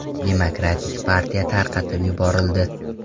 Demokratik partiya tarqatib yuborildi.